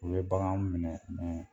U bɛ bagan minɛ